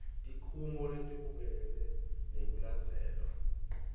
tikhungo letibukene nekulandzelwa